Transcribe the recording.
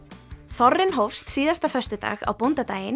þorrinn hófst síðasta föstudag á bóndadaginn